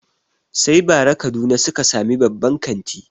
Sai bara kaduna suka sami babban kanti